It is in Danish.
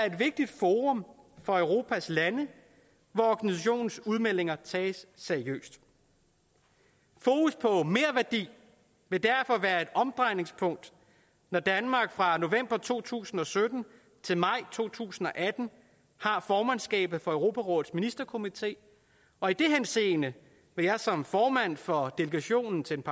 et vigtigt forum for europas lande hvor organisationens udmeldinger tages seriøst fokus på merværdi vil derfor være et omdrejningspunkt når danmark fra november to tusind og sytten til maj to tusind og atten har formandskabet for europarådets ministerkomité og i den henseende vil jeg som formand for delegationen til den